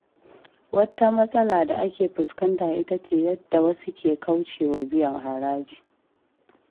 Wata matsala da ake fuskanta ita ce yadda wasu ke kauce wa biyan haraji.